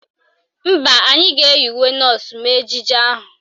Mba, anyị ga-eyi uwe nọọsụ mee ejije ahụ